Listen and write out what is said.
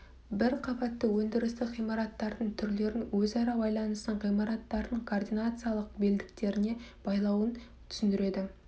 бір қабатты өндірістік ғимараттардың түрлерін өзара байланысын ғимараттардың координациялық белдіктеріне байлауын түсіндіреді